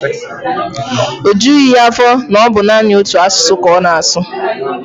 O jughị ya afọ na ọ bụ naanị otu asụsụ ka ọ na-asụ.